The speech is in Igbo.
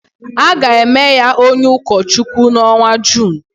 A ga-eme ya onye ụkọchukwu n’ọnwa Jun